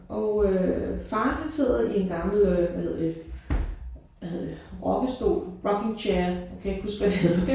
Og øh faren han sidder i en gammel øh hvad hedder det. Hvad hedder det rokkestol rocking chair. Jeg kan ikke huske hvad det hedder